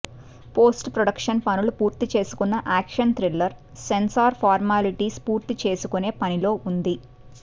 post production పనులు పూర్తి చేసుకున్న యాక్షన్ థ్రిల్లర్ సెన్సార్ పార్మాలిటీస్ పూర్తి చేసుకునే పనిలో ఉంది